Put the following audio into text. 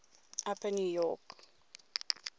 upper new york